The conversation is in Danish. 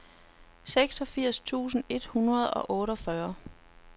seksogfirs tusind et hundrede og otteogfyrre